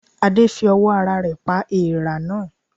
Adé fi owó ara rè pa eèrà náà